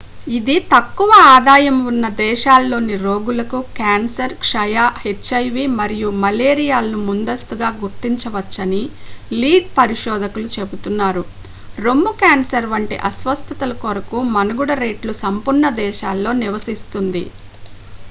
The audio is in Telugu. ఇది తక్కువ ఆదాయం ఉన్న దేశాల్లోని రోగులకు క్యాన్సర్ క్షయ హెచ్ ఐవి మరియు మలేరియాలను ముందస్తుగా గుర్తించవచ్చని లీడ్ పరిశోధకులు చెబుతున్నారు రొమ్ము క్యాన్సర్ వంటి అస్వస్థతల కొరకు మనుగడ రేట్లు సంపన్న దేశాల్లో నివసిస్తుంది